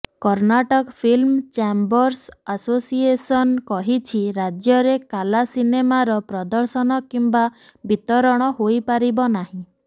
Karnataka film chambers association କହିଛି ରାଜ୍ୟରେ କାଲା ସିନେମାର ପ୍ରଦର୍ଶନ କିମ୍ବା ବିତରଣ ହୋଇପାରିବ ନାହିଁ